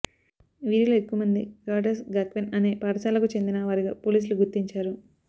వీరిలో ఎక్కువ మంది కారిటాస్ గాక్వెన్ అనే పాఠశాలకు చెందిన వారిగా పోలీసులు గుర్తించారు